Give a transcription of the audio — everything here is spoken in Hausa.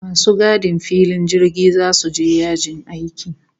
Masu gadin filin jirgi zasu je yajin aiki